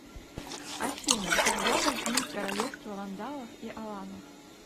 афина когда возник королевство вандалов и аланов